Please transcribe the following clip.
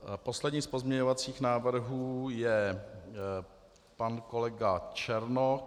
Poslední z pozměňovacích návrhů je pan kolega Černoch.